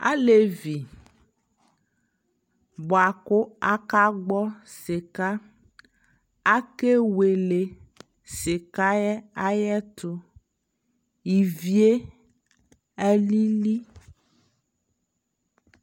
alɛvi bʋakʋ aka gbɔ sika, akɛ wɛlɛ sikaɛ ayɛtʋ, iviɛ alili